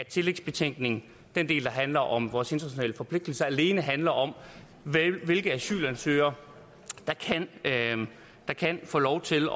tillægsbetænkningen den del der handler om vores internationale forpligtelser alene handler om hvilke asylansøgere der kan få lov til